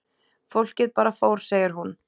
Fólkið bara fór segir hún.